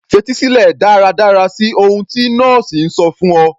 Fetí sílẹ̀ dáradára sí ohun tí nọ́ọ̀sì ń sọ fún ọ